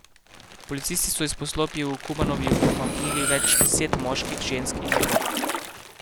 Policisti so iz poslopij v Kumanovu umaknili več deset moških, žensk in otrok.